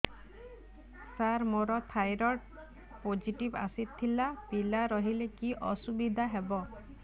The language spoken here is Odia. ସାର ମୋର ଥାଇରଏଡ଼ ପୋଜିଟିଭ ଆସିଥିଲା ପିଲା ରହିଲେ କି ଅସୁବିଧା ହେବ